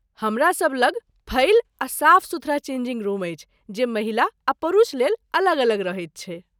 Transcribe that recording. हमरासब लग फइल आ साफ सुथरा चेंजिंग रुम अछि जे महिला आ पुरुष लेल अलग अलग रहैत छै।